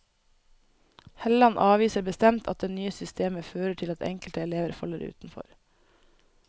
Helland avviser bestemt at det nye systemet fører til at enkelte elever faller utenfor.